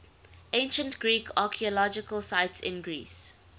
ancient greek archaeological sites in greece